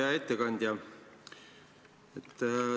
Hea ettekandja!